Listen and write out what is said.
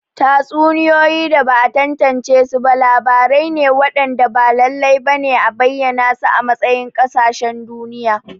Tatsuniyoyi da ba'a tantance ba labarai ne waɗanda ba lallai ba ne a bayyana su a matsayin ƙasashen duniya.